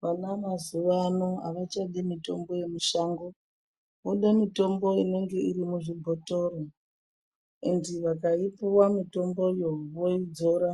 Vana mazuwa ano avachadi mutombo yemishango vode mitombo inonge iri muzvibhotoro endi vakaipuwa mutomboyo voidzora